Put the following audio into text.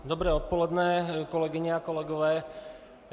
Dobré odpoledne, kolegyně a kolegové.